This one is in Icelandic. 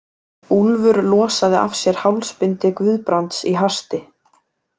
Úlfur losaði af sér hálsbindi Guðbrands í hasti.